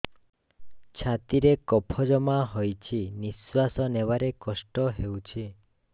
ଛାତିରେ କଫ ଜମା ହୋଇଛି ନିଶ୍ୱାସ ନେବାରେ କଷ୍ଟ ହେଉଛି